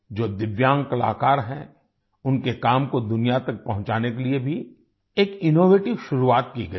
जो दिव्यांग कलाकार हैं उनके काम को दुनिया तक पहुंचाने के लिए भी एक इनोवेटिव शुरुआत की गई है